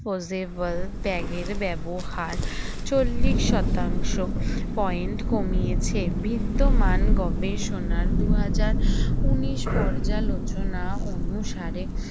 closever bag এর ব্যবহার চল্লিশ শতাংশ point কমিয়েছে বিদ্যমান গবেষণার দুই হাজার উনিশ পর্যালোচনা অনুসারে